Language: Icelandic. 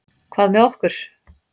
Hvað með okkur?